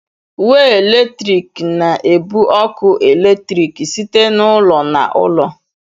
Way eletrik na-ebu ọkụ eletrik site n'ụlọ na ụlọ. "